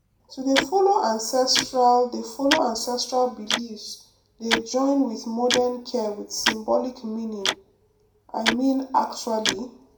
to dey follow ancestral dey follow ancestral beliefs dey join with modern care with symbolic meaning i mean actually